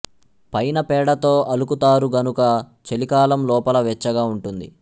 పైన పేడతో అలుకుతారు గనుక చలికాలం లోపల వెచ్చగా ఉంటుంది